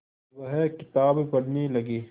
वह किताब पढ़ने लगे